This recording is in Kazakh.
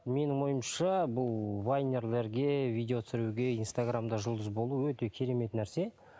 менің ойымша бұл вайнерлерге видео түсіруге инстаграмда жұлдыз болу өте керемет нәрсе